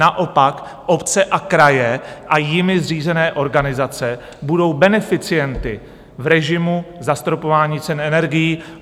Naopak obce a kraje a jimi zřízené organizace budou beneficienty v režimu zastropování cen energií.